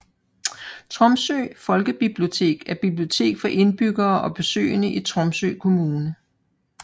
Tromsø folkebibliotek er bibliotek for indbyggere og besøgende i Tromsø kommune